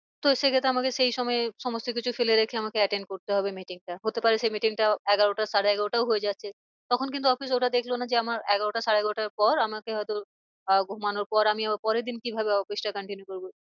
তো সে ক্ষেত্রে আমাকে সেই সময়ে সমস্ত কিছু ফেলে রেখে আমাকে attend করতে হবে meeting টা হতে পারে সেই meeting টা এগারোটা সাড়ে এগারোটাও হয়ে যাচ্ছে। তখন কিন্তু office ওরা দেখলো না যে আমার এগারোটা সাড়ে এগারোটার পর আমাকে হয় তো আহ ঘুমানোর পর আমি আবার পরের দিন কি ভাবে office টা continue করবো?